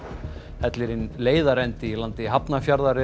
hellirinn leiðarendi í landi Hafnarfjarðar er